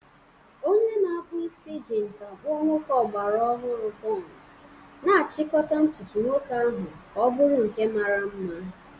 Onye na-akpụ isi ji nkà kpụọ nwoke ọgbara ọhụrụ bun, na-achịkọta ntutu nwoke ahụ ka ọ bụrụ nke mara mma.